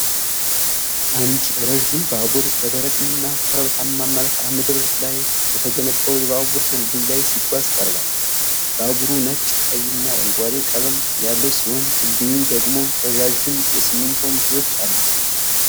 አንድ ረዥም ባቡር በደረቅና ኮረብታማ መልክዓ ምድር ላይ በተገነባ የባቡር ድልድይ ላይ ሲጓዝ ቀርቧል። ባቡሩ ነጭ፣ ቀይና አረንጓዴ ቀለም ያለው ሲሆን ድልድዩ ደግሞ ረዣዥም የሲሚንቶ ምሰሶዎች አሉት።